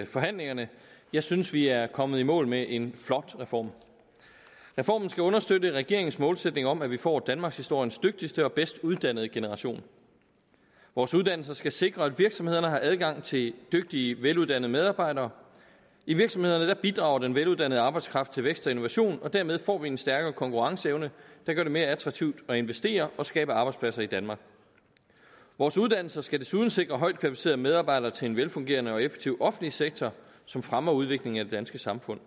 i forhandlingerne jeg synes vi er kommet i mål med en flot reform reformen skal understøtte regeringens målsætning om at vi får danmarkshistoriens dygtigste og bedst uddannede generation vores uddannelser skal sikre at virksomhederne har adgang til dygtige veluddannede medarbejdere i virksomhederne bidrager den veluddannede arbejdskraft til vækst og innovation og dermed får vi en stærkere konkurrenceevne der gør det mere attraktivt at investere og skabe arbejdspladser i danmark vores uddannelser skal desuden sikre højt kvalificerede medarbejdere til en velfungerende og effektiv offentlig sektor som fremmer udviklingen af det danske samfund